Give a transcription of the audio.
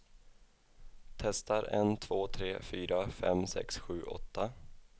Testar en två tre fyra fem sex sju åtta.